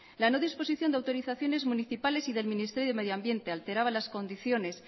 la no disposición de autorizaciones municipales y del ministerio de medio ambiente alteraba las condiciones